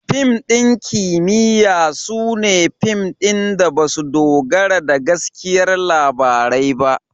Fim ɗin kimiyya su ne fim da ba su dogara da gaskiyar labarai ba.